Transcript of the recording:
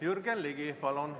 Jürgen Ligi, palun!